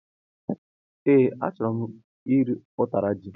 E, achọrọ m iri utara ji